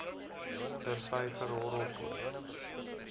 der vyver horrelpoot